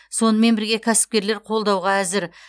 сонымен бірге кәсіпкерлер қолдауға әзір